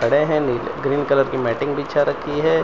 खड़े हैं। नीले ग्रीन कलर की मैटिंग बिछा रखीं हैं।